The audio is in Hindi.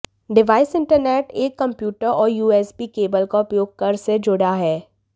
डिवाइस इंटरनेट एक कंप्यूटर और यूएसबी केबल का उपयोग कर से जुड़ा है